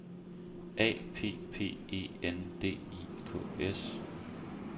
A P P E N D I K S